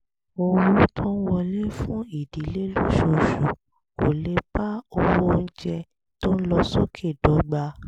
owó tó ń wọlé fún ìdílé lóṣooṣù kò lè bá owó oúnjẹ tó ń lọ sókè dọ́gba